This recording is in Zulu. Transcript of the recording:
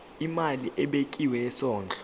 imali ebekiwe yesondlo